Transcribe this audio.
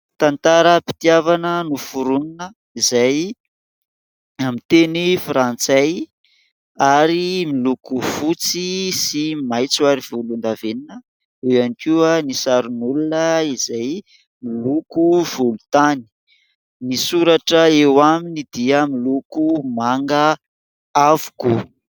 Tantaram-pitiavana noforonina, izay amin'ny teny frantsay ary miloko fotsy sy maitso ary volondavenina ; eo ihany koa ny sarin'olona izay miloko volontany, ny soratra eo aminy dia miloko manga avokoa.